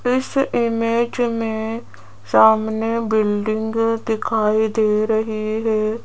इस इमेज में सामने बिल्डिंग दिखाई दे रही है।